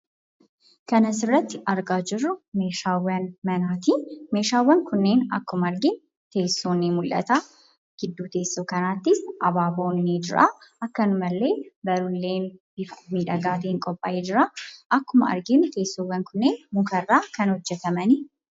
Kan as irratti arginu kun meeshaa manaati. Meeshaawwan kun akkuma arginu teessoon ni mul'ata, akkasumas gidduu teessoo kanaatti abaaboo fi kitaabonni ni argamu. Akkuma arginu teessoowwaan kunneen muka irraa kan hojjetamanii dha.